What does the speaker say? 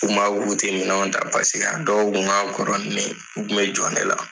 U kun b'a fɔ k'untɛ minɛnw ta paseke dɔw kun ka kɔrɔ ni ne ye.